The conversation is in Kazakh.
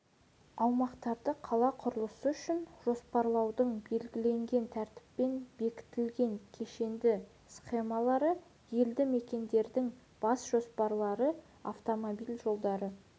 аумақтарды қала құрылысы үшін жоспарлаудың белгіленген тәртіппен бекітілген кешенді схемалары елді мекендердің бас жоспарлары автомобиль жолдары